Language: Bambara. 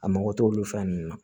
A mago t'olu fɛn nunnu na